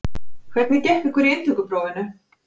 Hvernig gekk ykkur í inntökuprófinu?